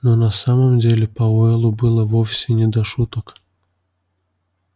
но на самом деле пауэллу было вовсе не до шуток